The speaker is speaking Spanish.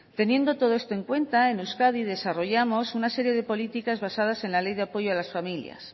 teniendo todo esto en cuenta en euskadi desarrollamos una serie de políticas basadas en la ley de apoyo a las familias